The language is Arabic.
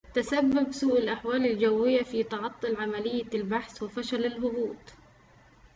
تسبب سوء الأحوال الجوية في تعطل عملية البحث وفشل الهبوط